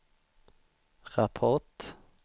rapport